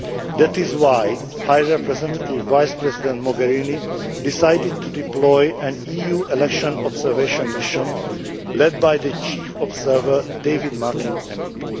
That is why High Representative Vice President Mogherini decided to deploy an EU Election Observation Mission, led by the chief observer David Martin MEP.